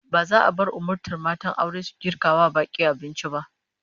Ba za a bar umurtan matan aure su girka wa bak'i abinci ba